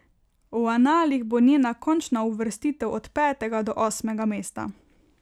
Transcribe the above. V analih bo njena končna uvrstitev od petega do osmega mesta.